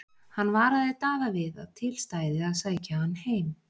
Hann varaði Daða við að til stæði að sækja hann heim.